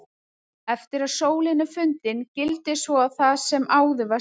Eftir að sólin er fundin gildir svo það sem áður var sagt.